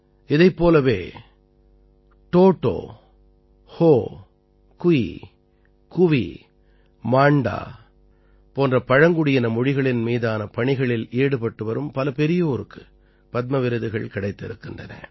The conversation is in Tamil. இதைப் போலவே ட் டோடோ ஹோ குயி குவி மாண்டா போன்ற பழங்குடி மொழிகளின் மீதான பணிகளில் ஈடுபட்டு வரும் பல பெரியோருக்கு பத்ம விருதுகள் கிடைத்திருக்கின்றன